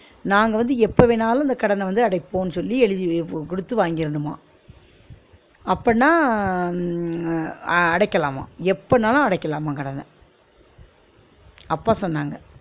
நாங்க வந்து எப்ப வேணாலும் இந்த கடன வந்து அடைப்போம்னு சொல்லி எழுதி வெ கொடுத்து வாங்கிரனுமா அப்பனா அஹ் உம் அ அடைக்கலாமா எப்பனாலும் அடைக்கலாமா கடன அப்பா சொன்னாங்க